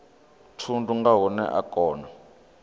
thundu nga hune a kona